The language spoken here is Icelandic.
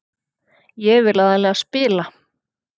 Ég vil aðallega spila.